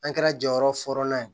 An kɛra jɔyɔrɔ fɔlɔ ye